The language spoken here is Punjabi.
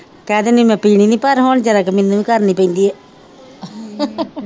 ਕਹਿ ਦਿੰਦੀ ਮੈ ਪੀਣੀ ਨੀ ਪਰ ਹੁਣ ਜਰਾ ਕ ਮੈਨੂੰ ਵੀ ਕਰਨੀ ਪੇਂਦੀ ਆ